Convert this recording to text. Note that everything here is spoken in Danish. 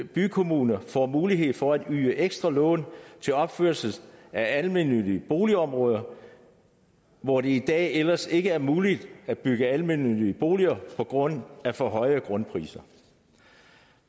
bykommuner får mulighed for at yde ekstra lån til opførelse af almennyttige boligområder hvor det i dag ellers ikke er muligt at bygge almennyttige boliger på grund af for høje grundpriser